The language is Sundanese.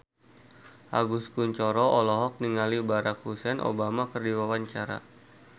Agus Kuncoro olohok ningali Barack Hussein Obama keur diwawancara